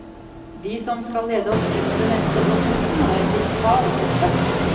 De som skal lede oss inn i det neste årtusen har en digital oppvekst.